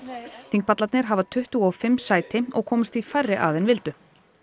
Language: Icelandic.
þingpallarnir hafa tuttugu og fimm sæti og komust því færri að en vildu